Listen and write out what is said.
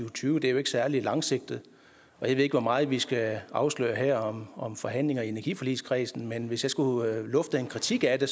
og tyve og det er jo ikke særlig langsigtet jeg ved ikke hvor meget vi skal afsløre her om forhandlinger i energiforligskredsen men hvis jeg skulle lufte en kritik af det